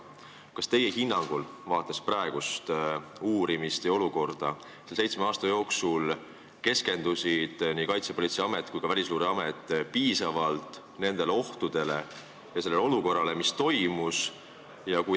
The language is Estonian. Kas teie hinnangul, vaadates praegust uurimist ja olukorda, selle seitsme aasta jooksul keskendusid nii Kaitsepolitseiamet kui ka Välisluureamet piisavalt nendele ohtudele ja sellele olukorrale?